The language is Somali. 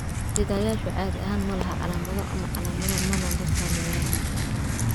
Sidayaashu caadi ahaan ma laha calaamado ama calaamado mana la saameeyaan.